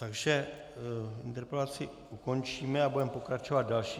Takže interpelaci ukončíme a budeme pokračovat další...